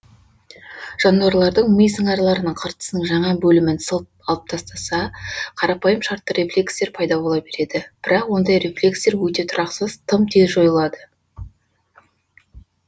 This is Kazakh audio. жануалардың ми сыңарларының қыртысының жаңа бөлімін сылып алып тастаса қарапайым шартты рефлекстер пайда бола береді бірақ ондай рефлекстер өте тұрақсыз тым тез жойылады